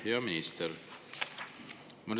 Hea minister!